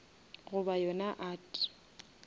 goba yona art